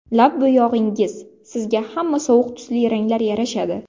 Lab bo‘yog‘ingiz: Sizga hamma sovuq tusli ranglar yarashadi.